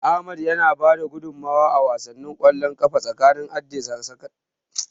Ahmad ya bada gudunmawa a wasan ƙwallon ƙafa tsakanin Addi da sakandaren Bayero.